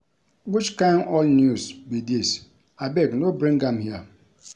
Which kin old news be dis abeg no bring am here